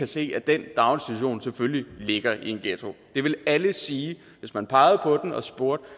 se at den daginstitution selvfølgelig ligger i en ghetto det vil alle sige hvis man pegede på den og spurgte